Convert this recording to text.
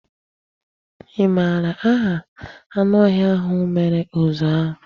Ị mara aha anụ ọhịa ahụ mere uzu ahụ?